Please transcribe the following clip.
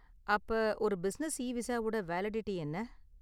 அப்ப, ஒரு பிசினெஸ் இவிசாவோட வேலிடிட்டி என்ன?